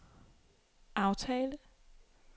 aftale